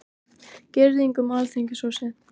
Girðing um Alþingishúsið